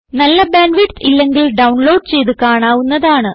നല്ല bandwidth ഇല്ലെങ്കിൽ download ചെയ്ത് കാണാവുന്നതാണ്